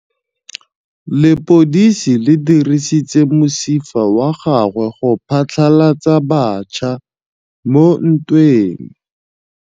Lepodisa le dirisitse mosifa wa gagwe go phatlalatsa batšha mo ntweng.